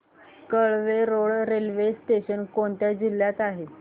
Kelve Road railway station कोणत्या जिल्ह्यात आहे